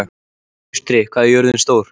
Austri, hvað er jörðin stór?